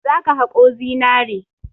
Za ka haƙo zinare!